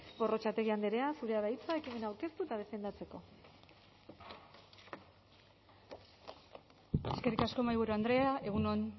gorrotxategi andrea zurea da hitza ekimena aurkezteko eta defendatzeko eskerrik asko mahaiburu andrea egun on